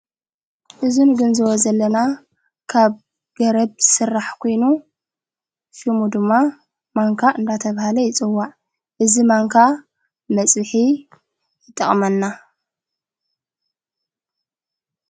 እዝ ንግንዝቦ ዘለና ካብ ገረድ ሥራሕ ኴይኑ ሽሙ ድማ ማንካ እንዳተብሃለ ይፅዋዕ እዝ ማንካ መጽቢሒ ይጠቕመና።